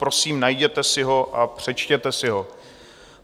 Prosím, najděte si ho a přečtěte si ho.